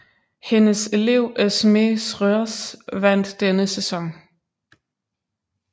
Hendes elev Esmée Schreurs vandt denne sæson